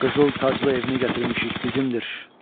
Qızıl taclı evini gətirmişik, bizimdir.